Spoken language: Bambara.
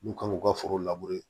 N'u kan k'u ka foro